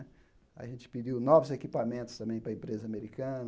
A gente pediu novos equipamentos também para a empresa americana.